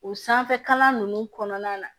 O sanfɛkalan ninnu kɔnɔna na